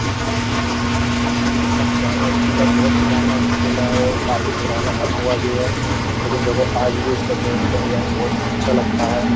देखो यह कितना पुराना एक पुला बहुत पुराना स्कूला है और काफी पुराना बना हुआ भी है लेकिन देखो आज भी इसका गेट का डिज़ाइन बहुत अच्छा लगता है।